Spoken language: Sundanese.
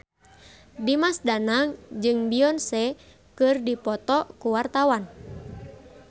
Dimas Danang jeung Beyonce keur dipoto ku wartawan